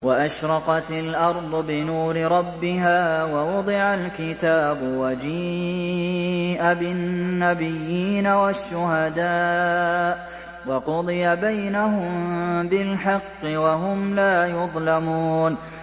وَأَشْرَقَتِ الْأَرْضُ بِنُورِ رَبِّهَا وَوُضِعَ الْكِتَابُ وَجِيءَ بِالنَّبِيِّينَ وَالشُّهَدَاءِ وَقُضِيَ بَيْنَهُم بِالْحَقِّ وَهُمْ لَا يُظْلَمُونَ